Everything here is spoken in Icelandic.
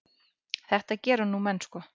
Þetta gera nú menn sko.